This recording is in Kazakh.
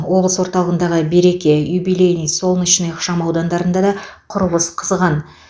облыс орталығындағы береке юбилейный солнечный ықшам аудандарында да құрылыс қызған